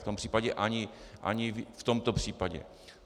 V tom případě ani v tomto případě.